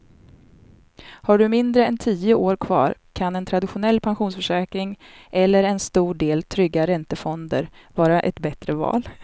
Har du mindre än tio år kvar kan en traditionell pensionsförsäkring eller en stor del trygga räntefonder vara ett bättre val.